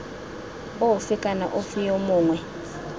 ofe kana ofe yo mongwe